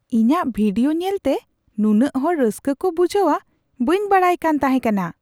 ᱤᱧᱟᱜ ᱵᱷᱤᱰᱤᱭᱳ ᱧᱮᱞᱛᱮ ᱱᱩᱱᱟᱹᱜ ᱦᱚᱲ ᱨᱟᱹᱥᱠᱟᱹ ᱠᱚ ᱵᱩᱡᱷᱦᱟᱹᱣᱟ ᱵᱟᱹᱧ ᱵᱟᱰᱟᱭ ᱠᱟᱱ ᱛᱟᱦᱮᱸᱠᱟᱱᱟ !